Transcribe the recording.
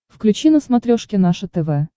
включи на смотрешке наше тв